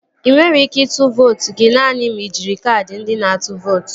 Ị nwere ike ịtụ vootu gị naanị ma ị jiri kaadị ndị na-atụ vootu